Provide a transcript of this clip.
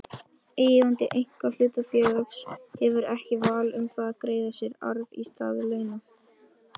Eigandi einkahlutafélags hefur ekki val um það að greiða sér arð í stað launa.